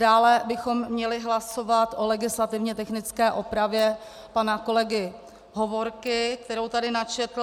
Dále bychom měli hlasovat o legislativně technické opravě pana kolegy Hovorky, kterou tady načetl.